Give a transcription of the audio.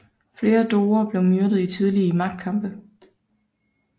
Flere doger blev myrdet i tidlige magtkampe